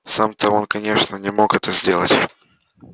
сам то он конечно не мог это сделать